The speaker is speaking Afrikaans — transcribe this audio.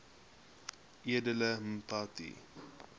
edele mpati